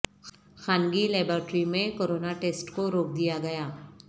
خانگی لیباریٹری میں corona test کو روک دیا گیا